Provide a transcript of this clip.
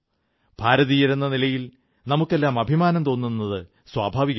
ഭാരതീയരെന്ന നിലയിൽ നമുക്കെല്ലാം അഭിമാനം തോന്നുന്നതു സ്വാഭാവികമാണ്